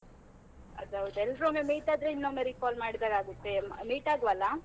ಅದ್ ಹೌದು ಎಲ್ರು ಒಮ್ಮೆ meet ಆದ್ರೆ ಇನ್ನೊಮ್ಮೆ recall ಮಾಡಿದ ಹಾಗೆ ಆಗತ್ತೆ, meet ಆಗುವ ಅಲಾ?